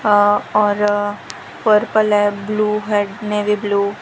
अ और पर्पल है ब्ल्यू है नेवी ब्ल्यू --